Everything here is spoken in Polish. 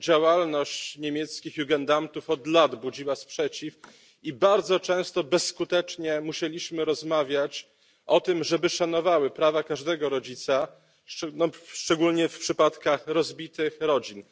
Działalność niemieckich od lat budziła sprzeciw i bardzo często bezskutecznie musieliśmy rozmawiać o tym, żeby szanowały one prawa każdego rodzica, szczególnie w przypadkach rozbitych rodzin.